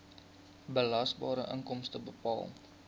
belasbare inkomste bepaal